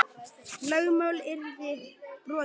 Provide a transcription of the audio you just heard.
Lögmál yrði brotið.